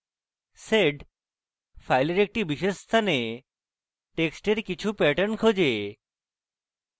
sed file একটি বিশেষ স্থানে টেক্সটের কিছু pattern খোঁজে